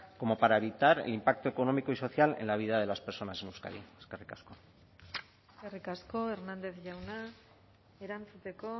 como para evitar el impacto económico y social en la vida de las personas en euskadi eskerrik asko eskerrik asko hernández jauna erantzuteko